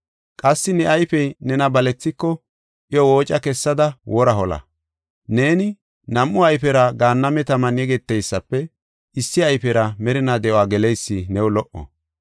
Qassi ne ayfey nena balethiko iyo wooca kessada wora hola. Neeni nam7u ayfera gaanname taman yegeteysafe issi ayfera merinaa de7uwa geleysi new lo77o.